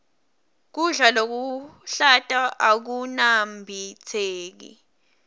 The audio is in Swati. kudla lokuhlata akunambitseki